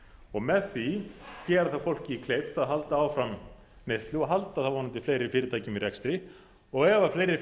og með því gera þá fólki kleift að halda áfram neyslu og halda þá vonandi fleiri fyrirtækjum í rekstri og ef fleiri